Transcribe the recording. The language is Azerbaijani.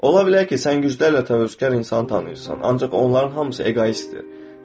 Ola bilər ki, sən güclü və təvəkkülkar insanı tanıyırsan, ancaq onların hamısı eqoistdir.